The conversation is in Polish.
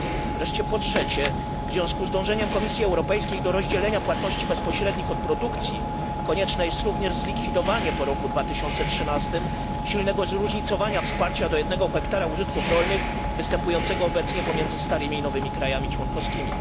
W związku z dążeniem Komisji Europejskiej do rozdzielenia płatności bezpośrednich od produkcji, konieczne jest również zlikwidowanie po roku 2013 silnego zróżnicowania wsparcia do 1 ha użytków rolnych, występującego obecnie pomiędzy starymi i nowymi krajami członkowskimi.